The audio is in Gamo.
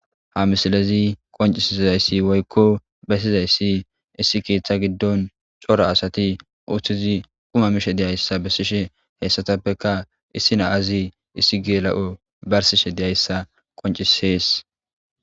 Ha misilez qoncizays woykko besizays issi keetha gidon cora asat quma mizaysa besishe , haysatappeka issi Naz issi gela'iyo barisishe diyaysa qoncises.